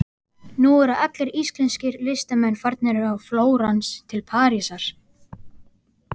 Nú eru allir íslenskir listamenn farnir frá Flórens til Parísar.